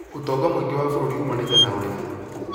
Ũtonga mũingĩ wa bũrũri umanĩte na ũrĩmi